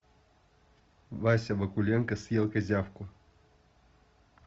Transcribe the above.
вася вакуленко съел козявку